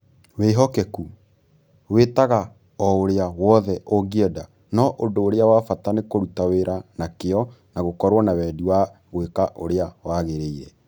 Wĩhokeku: Wĩtaga o ũrĩa wothe ũngĩenda, no ũndũ ũrĩa wa bata nĩ kũruta wĩra na kĩyo na gũkorũo na wendi wa gwĩka ũrĩa wagĩrĩire.